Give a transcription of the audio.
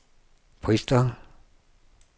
Bristol